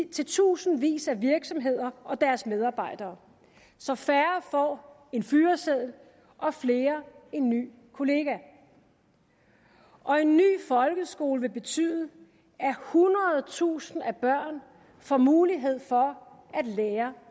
til tusindvis af virksomheder og deres medarbejdere så færre får en fyreseddel og flere en ny kollega og en ny folkeskole vil betyde at hundredetusinder af børn får mulighed for at lære